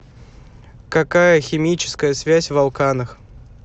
какая химическая связь в алканах